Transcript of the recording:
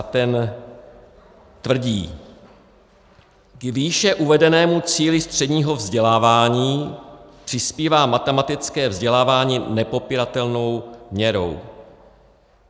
A ten tvrdí: K výše uvedenému cíli středního vzdělávání přispívá matematické vzdělávání nepopiratelnou měrou.